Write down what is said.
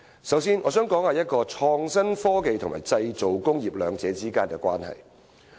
首先，我想談談創新科技與製造工業兩者之間的關係。